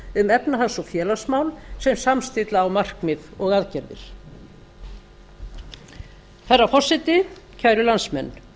um efnahags og félagsmál sem samstilla á markmið og aðgerðir herra forseti kæru landsmenn